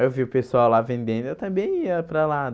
Aí eu vi o pessoal lá vendendo, eu também ia para lá.